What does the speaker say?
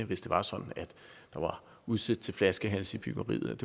hvis det var sådan at der var udsigt til flaskehalse i byggeriet